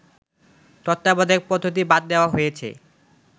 তত্ত্বাবধায়ক পদ্ধতি বাদ দেওয়া হয়েছে